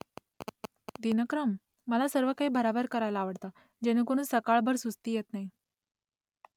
दिनक्रम ? मला सर्व काही भरभर करायला आवडतं , जेणेकरून सकाळभर सुस्ती येत नाही